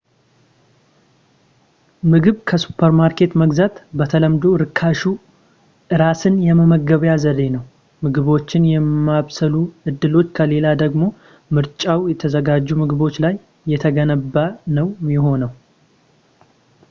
ምግብ ከሱፐርማርኬት መግዛት በተለምዶ ርካሹ እራስን የመመገቢያ ዘዴ ነው ምግቦችን የማብሰሉ እድሎች ከሌለ ደግሞ ምርጫው የተዘጋጁ ምግቦች ላይ የተገደበ ነው የሚሆነው